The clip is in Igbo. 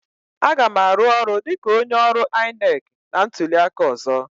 Aga m arụ ọrụ dịka onye ọrụ INEC na ntuli aka ọzọ.